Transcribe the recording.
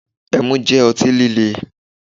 Ẹmu jẹ́ ọtí líle